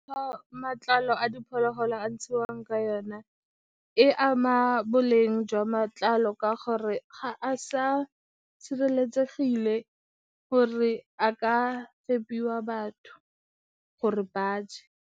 Matlalo a diphologolo a ntshiwang ka yona e ama boleng jwa matlalo ka gore ga a sa sireletsegile gore a ka fepiwa batho gore ba je.